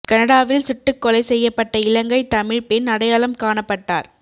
கனடாவில் சுட்டுக்கொலை செய்யப்பட்ட இலங்கை தமிழ் பெண் அடையாளம் காணப்பட்டார்